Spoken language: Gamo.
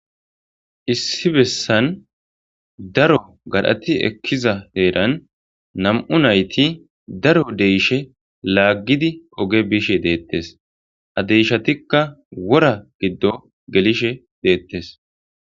Issi bessan daro gadhathi ekkiza heeran nam7u naythi daro deyishe laaggidi oge bishe deeththes; ha deeshathikka wora giddo gelishe deeththes.